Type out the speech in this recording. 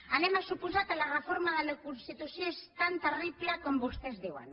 anem a suposar que la reforma de la constitució és tan terrible com vostès diuen